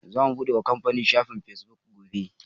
Zamu buɗe wa kamfanin mu shafin Fesbuk gobe.